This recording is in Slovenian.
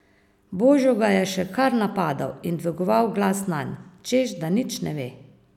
Božo ga je še kar napadal in dvigoval glas nanj, češ da nič ne ve.